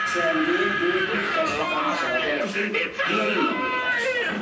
Bu kəndin böyük bir xəstəxanası var, həkim yerinlə yoxa çıxıb.